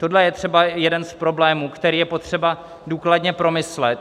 Tohle je třeba jeden z problémů, který je potřeba důkladně promyslet.